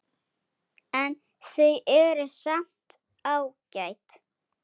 En þau eru samt ágæt.